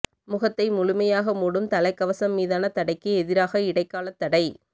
முகத்தை முழுமையாக மூடும் தலைக்கவசம் மீதான தடைக்கு எதிராக இடைக்காலத் தடை